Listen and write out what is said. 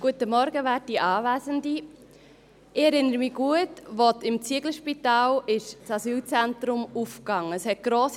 Ich erinnere mich gut, als im Zieglerspital das Asylzentrum eröffnet wurde.